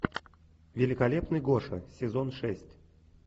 великолепный гоша сезон шесть